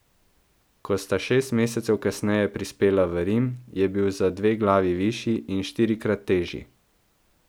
Ko sta šest mesecev kasneje prispela v Rim, je bil za dve glavi višji in štirikrat težji.